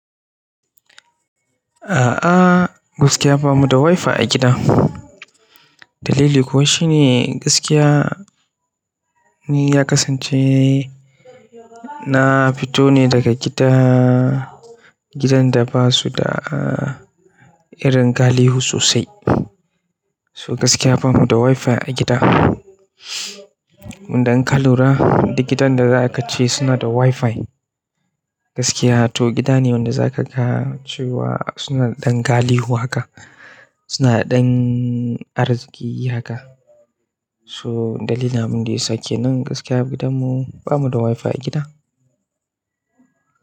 A'a, gaskiya bamu da Wi-Fi a gida. Dalili kuwa shine gaskiya ni ya kasance na fito ne daga gida, gidan da ba su da irin galihu sosai. So gaskiya bamu da Wi-Fi a gida. Dan ka lura duk gidan da za ka ce suna da Wi-Fi gaskiya. To gida ne wanda za ka ka ce wa suna da ɗan galihu haka, suna ɗan arziƙi haka. To dalilin abinda ya sake nan gaskiya gidanmu bamu da Wi-Fi a gida.